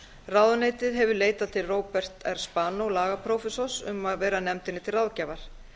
ráðuneytið hefur leitað til róberts r spanó lagaprófessors um að vera nefndinni til ráðgjafar